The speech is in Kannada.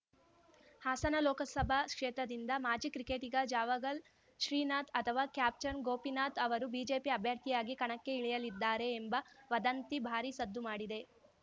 ಹಾಸನ ಲೋಕಸಭಾ ಕ್ಷೇತ್ರದಿಂದ ಮಾಜಿ ಕ್ರಿಕೆಟಿಗ ಜಾವಗಲ್‌ ಶ್ರೀನಾಥ್‌ ಅಥವಾ ಕ್ಯಾಪ್ಟನ್‌ ಗೋಪಿನಾಥ್‌ ಅವರು ಬಿಜೆಪಿ ಅಭ್ಯರ್ಥಿಯಾಗಿ ಕಣಕ್ಕೆ ಇಳಿಯಲಿದ್ದಾರೆ ಎಂಬ ವದಂತಿ ಭಾರೀ ಸದ್ದು ಮಾಡಿದೆ